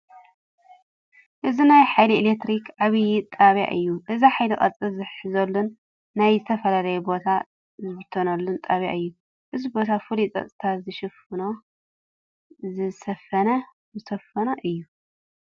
እዚ ናይ ሓይሊ ኤለክትሪ ዓብዪ ጣብያ እዩ፡፡ እዚ ሓይሊ ቅርፂ ዝሕዘሉን ናብ ዝተፈላለየ ቦታ ዝብተነሉን ጣብያ እዩ፡፡ እዚ ቦታ ፍሉይ ፀጥታ ዝሰፈኖ እዩ፡፡